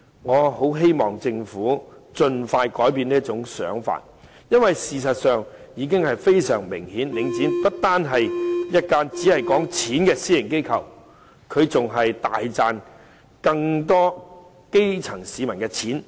我很希望政府盡快改變這種想法，因為事實上已非常明顯，領展不單是一間只談錢的私營機構，它大賺的更是基層市民的錢。